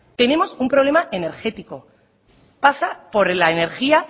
tenemos un problema energético pasa por la energía